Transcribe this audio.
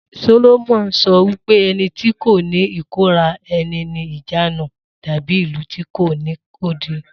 Solomoni sọ wípé ẹni tí kò ní ìkóra ẹni ní ìjánu dàbí ìlú tí kò ní odi